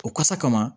O kasa kama